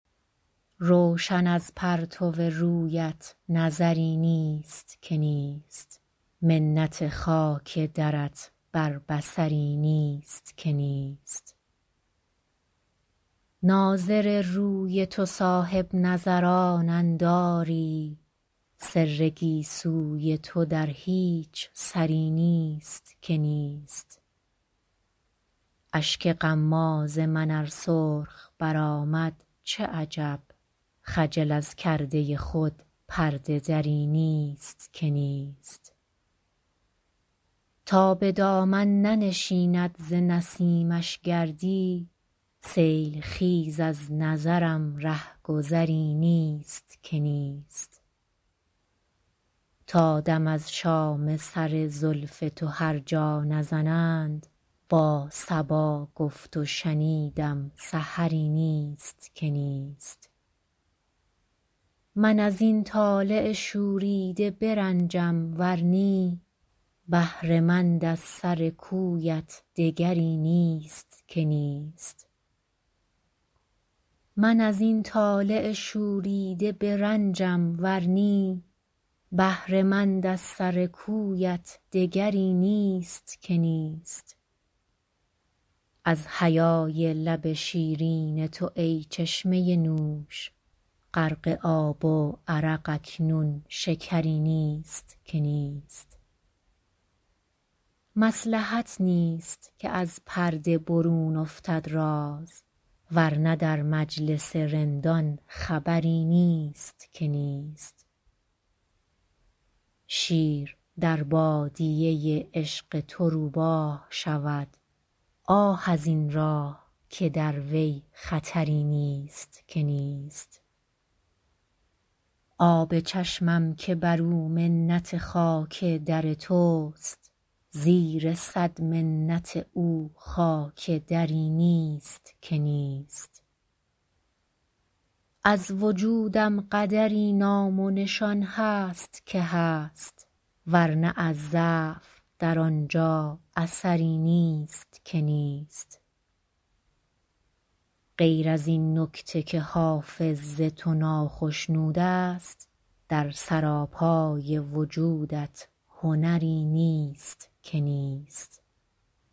روشن از پرتو رویت نظری نیست که نیست منت خاک درت بر بصری نیست که نیست ناظر روی تو صاحب نظرانند آری سر گیسوی تو در هیچ سری نیست که نیست اشک غماز من ار سرخ برآمد چه عجب خجل از کرده خود پرده دری نیست که نیست تا به دامن ننشیند ز نسیمش گردی سیل خیز از نظرم ره گذری نیست که نیست تا دم از شام سر زلف تو هر جا نزنند با صبا گفت و شنیدم سحری نیست که نیست من از این طالع شوریده برنجم ور نی بهره مند از سر کویت دگری نیست که نیست از حیای لب شیرین تو ای چشمه نوش غرق آب و عرق اکنون شکری نیست که نیست مصلحت نیست که از پرده برون افتد راز ور نه در مجلس رندان خبری نیست که نیست شیر در بادیه عشق تو روباه شود آه از این راه که در وی خطری نیست که نیست آب چشمم که بر او منت خاک در توست زیر صد منت او خاک دری نیست که نیست از وجودم قدری نام و نشان هست که هست ور نه از ضعف در آن جا اثری نیست که نیست غیر از این نکته که حافظ ز تو ناخشنود است در سراپای وجودت هنری نیست که نیست